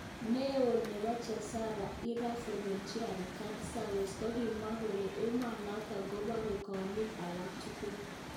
Neo nepo jesepo Iran Revolutionary Guard Service kokimwa kole emonotok kopore kolik alak tugul